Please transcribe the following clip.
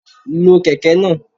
Lo Kẹ̀kẹ́ náà.